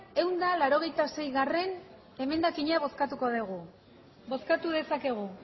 ehun eta laurogeita seigarrena emendakina bozkatuko dugu bozkatu dezakegu